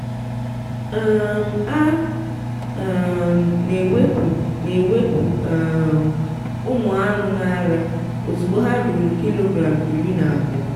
um a um na-ewepụ na-ewepụ um ụmụ anụ n’ara ozugbo ha ruru kilogram iri na abụọ